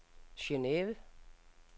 Geneve